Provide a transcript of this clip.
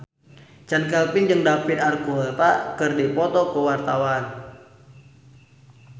Chand Kelvin jeung David Archuletta keur dipoto ku wartawan